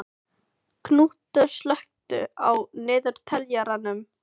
Knútur, slökktu á niðurteljaranum.